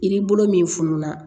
I ni bolo min fununa